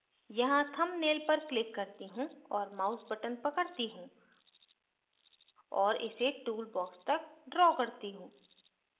यहाँ thumbnail पर click करती हूँ और mouse button पकड़ती हूँ और इसे टूल बॉक्स तक draw करती हूँ